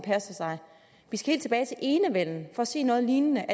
vi skal helt tilbage til enevælden for at se noget lignende